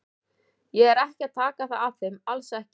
Ég er ekki að taka það af þeim, alls ekki.